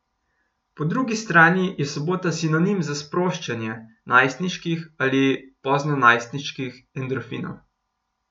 Po drugi strani je sobota sinonim za sproščanje najstniških ali poznonajstniških endorfinov.